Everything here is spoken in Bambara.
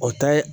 O ta ye